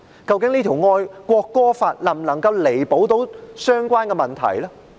究竟這條國歌法能否彌補相關的問題呢？